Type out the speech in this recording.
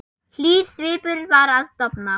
Hlýr svipur var að dofna.